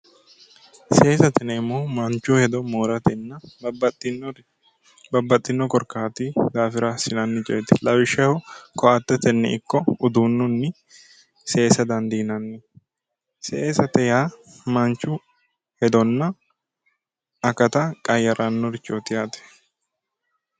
Seesate yineemmohu manchu hedo mooratenna babbaxxino korkaati daafira assinanni coyeeti lawishshaho ko"attetenni ikko uduunninni seesa dandiinanni seesate yaa manchu hedonna akata qayyarannorichooti yaate